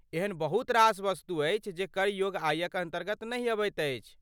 एहन बहुत रास वस्तु अछि जे कर योग्य आयक अन्तर्गत नहि अबैत अछि।